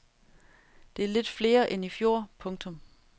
Det er lidt flere end i fjor. punktum